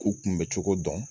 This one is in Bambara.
K'u kunbɛ cogo dɔn